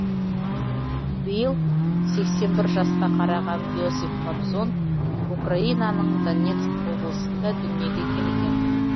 биыл сексен бір жасқа қараған иосиф кобзон украинаның донецк облысында дүниеге келген